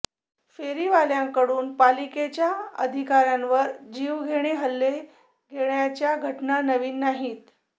फेरीवाल्यांकडून पालिकेच्या अधिकाऱ्यांवर जीवघेणे हल्ले होण्याच्या घटना नवीन नाहीत